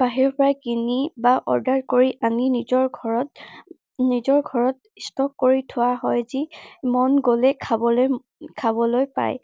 বাহিৰৰ পৰা কিনি বা order কৰি আনি নিজৰ ঘৰত, নিজৰ ঘৰত stock কৰি থোৱা হয়। যি মন গলেই খাবলৈ, উম খাবলৈ পায়।